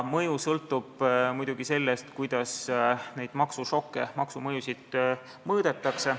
Mõju sõltub muidugi sellest, kuidas neid maksušokke, maksumõjusid mõõdetakse.